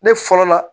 Ne fɔlɔ la